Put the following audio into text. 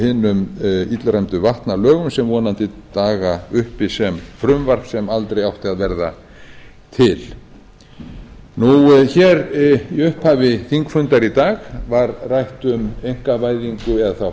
hinum illræmdu vatnalögum sem vonandi daga uppi sem frumvarp sem aldrei að verða til hér í upphafi þingfundar í dag var rætt um einkavæðingu eða þá